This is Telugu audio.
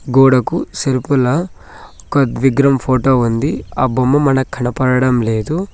గోడకు సెల్పుల ఒక విగ్రహం ఫోటో ఉంది ఆ బొమ్మ మనకు కనపడటం లేదు.